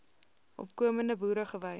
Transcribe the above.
opkomende boere gewy